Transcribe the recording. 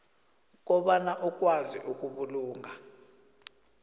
kobana ukwazi ukubulunga